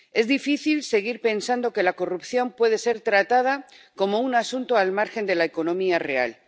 Es difícil seguir pensando que la corrupción puede ser tratada como un asunto al margen de la economía real.